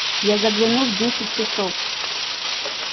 я загляну в десять часов